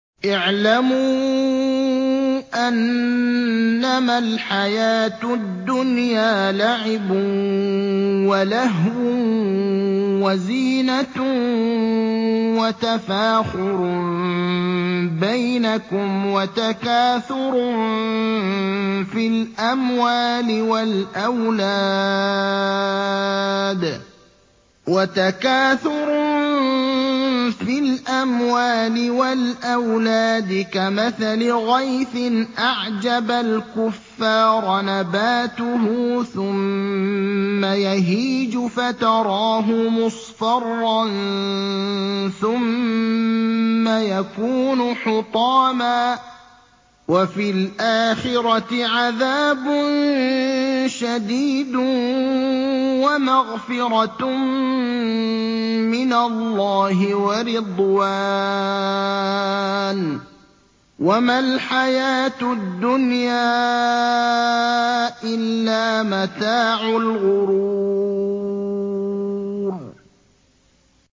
اعْلَمُوا أَنَّمَا الْحَيَاةُ الدُّنْيَا لَعِبٌ وَلَهْوٌ وَزِينَةٌ وَتَفَاخُرٌ بَيْنَكُمْ وَتَكَاثُرٌ فِي الْأَمْوَالِ وَالْأَوْلَادِ ۖ كَمَثَلِ غَيْثٍ أَعْجَبَ الْكُفَّارَ نَبَاتُهُ ثُمَّ يَهِيجُ فَتَرَاهُ مُصْفَرًّا ثُمَّ يَكُونُ حُطَامًا ۖ وَفِي الْآخِرَةِ عَذَابٌ شَدِيدٌ وَمَغْفِرَةٌ مِّنَ اللَّهِ وَرِضْوَانٌ ۚ وَمَا الْحَيَاةُ الدُّنْيَا إِلَّا مَتَاعُ الْغُرُورِ